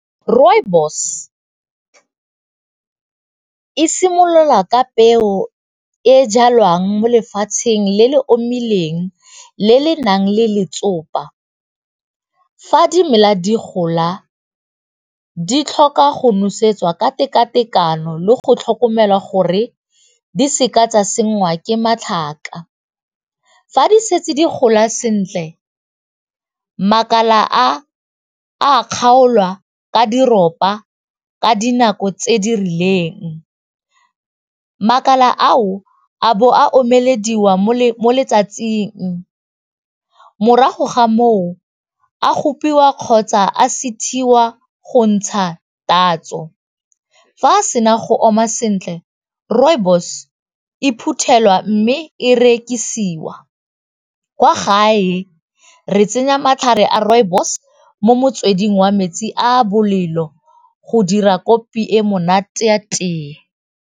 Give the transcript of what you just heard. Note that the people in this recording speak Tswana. Rooibos e simolola ka peo e e jalwang mo lefatsheng le le omileng le le nang le letsopa, fa di mela di gola di tlhoka go nosetsa ka tekatekano le go tlhokomela gore di seka tsa sengwa ke matlhaka, fa di setse di gola sentle makala a a kgaolwa ka ka dinako tse di rileng, makala ao a bo a omelediwa mo letsatsing morago ga moo a gopiwa kgotsa a go ntsha tatso fa a sena go oma sentle rooibos e phuthelwa mme e rekisiwa kwa gae re tsenya matlhare a rooibos mo motsweding wa metsi a bolelo go dira kopi e monate ya teye.